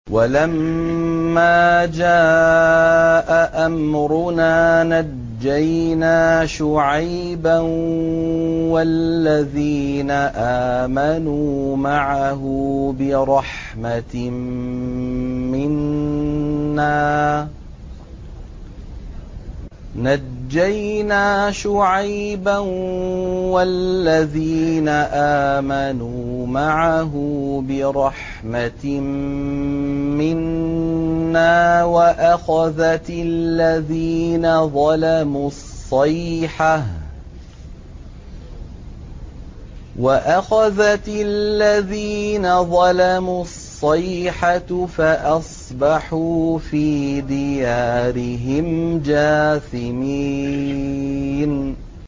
وَلَمَّا جَاءَ أَمْرُنَا نَجَّيْنَا شُعَيْبًا وَالَّذِينَ آمَنُوا مَعَهُ بِرَحْمَةٍ مِّنَّا وَأَخَذَتِ الَّذِينَ ظَلَمُوا الصَّيْحَةُ فَأَصْبَحُوا فِي دِيَارِهِمْ جَاثِمِينَ